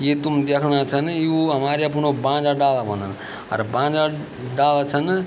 ये तुम देखणा छन यु हमरे अपणु बांज क डाला होना अर बांज डाला छन --